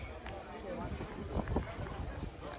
Dedi ki, mən özüm də elə danışıram.